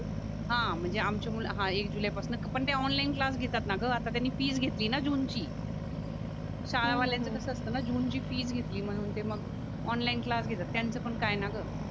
हा म्हणजे आमची मुलं हा एक जुलैपासना पण ते ऑनलाईन क्लास घेतात ना गआता त्यांनी फीस घेतली ना जून ची शाळवाल्याचं कस असताना जुनची फीज घेतली म्हणून ते मग ऑनलाईन क्लास घेतात त्यांचा पण काय नाय ग